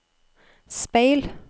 speil